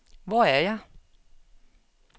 Hvor er jeg